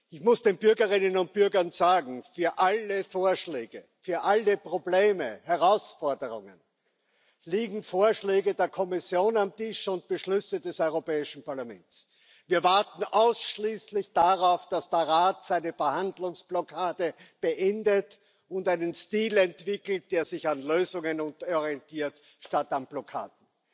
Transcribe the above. Ich muss den Bürgerinnen und Bürgern sagen Für alle Vorschläge, für alle Probleme und Herausforderungen liegen Vorschläge der Kommission und Beschlüsse des Europäischen Parlaments auf dem Tisch. Wir warten ausschließlich darauf, dass der Rat seine Verhandlungsblockade beendet und einen Stil entwickelt, der sich an Lösungen orientiert statt an Blockaden.